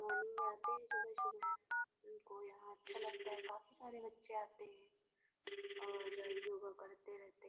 Morning में आते हैं सुबह-सुबह। उनको यहाँ अच्छा लगता है काफ़ी सारे बच्चे आते हैं और योगा करते रहते --